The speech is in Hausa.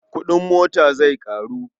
Kuɗin mota zai ƙaru.